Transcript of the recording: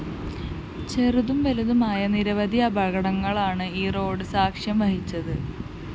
ചെറുതും വലതുമായ നിരവധി അപകടങ്ങള്‍ക്കാണ് ഈ റോഡ്‌ സാക്ഷ്യം വഹിച്ചത്